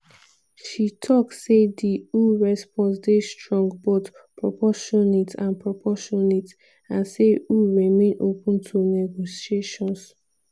she tok say di eu response dey "strong but proportionate" and proportionate" and say eu remain "open to negotiations".